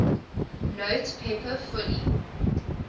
note paper fully